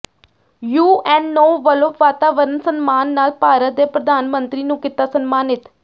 UNO ਵਲੋਂ ਵਾਤਾਵਰਣ ਸਨਮਾਨ ਨਾਲ ਭਾਰਤ ਦੇ ਪ੍ਰਧਾਨ ਮੰਤਰੀ ਨੂੰ ਕੀਤਾ ਸਨਮਾਨਿਤ